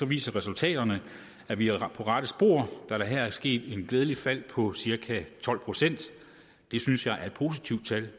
viser resultaterne at vi er på rette spor da der her er sket et glædeligt fald på cirka tolv procent det synes jeg er et positivt tal